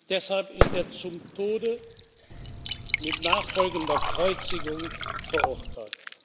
Deshalb ist er zum Tode mit nachfolgender Kreuzigung verurteilt.